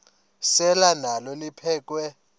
selwa nalo liphekhwe